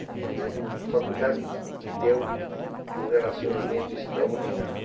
E a faculdade me deu um relacionamento extraordinário.